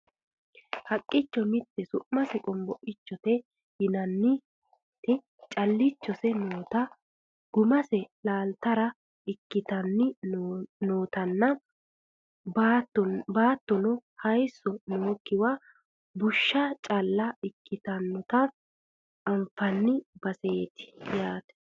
haqqicho mitte su'mase qonboichote yinanniti callichose noota gumase laaltara ikkitanni nootanna baattono hayisso nookkiwa bushsha calla ikkitinota anfanni baseeti yaate